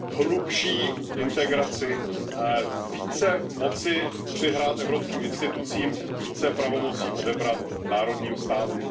hlubší integraci, více moci přihrát evropským institucím, více pravomocí odebrat národním státům.